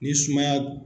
Ni sumaya